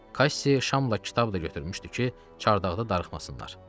Kassi şamla kitab da götürmüşdü ki, çardaqda darıxmasınlar.